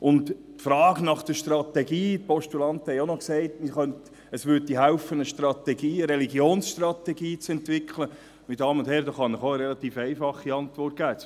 Auf die Frage nach der Strategie – die Postulanten haben auch gesagt, es hälfe, eine Religionsstrategie zu entwickeln – kann ich Ihnen eine relativ einfache Antwort geben: